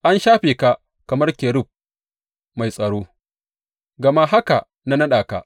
An shafe ka kamar kerub mai tsaro, gama haka na naɗa ka.